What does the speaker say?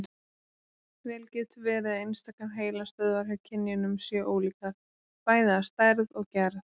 Vel getur verið að einstakar heilastöðvar hjá kynjunum séu ólíkar, bæði að stærð og gerð.